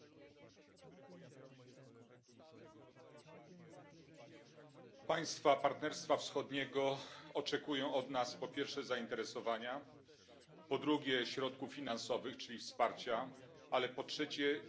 Pani Przewodnicząca! Państwa Partnerstwa Wschodniego oczekują od nas, po pierwsze, zainteresowania, po drugie, środków finansowych, czyli wsparcia, ale po trzecie, dzielenia się także własnymi doświadczeniami, praktyką.